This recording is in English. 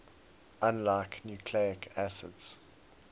unlike nucleic acids